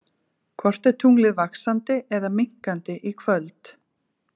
Hvort er tunglið vaxandi eða minnkandi í kvöld?